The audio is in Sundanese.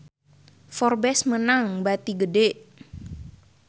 Forbes meunang bati gede